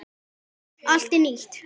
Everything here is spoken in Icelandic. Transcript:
Allt er nýtt.